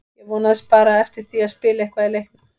Ég vonaðist bara eftir því að spila eitthvað í leiknum.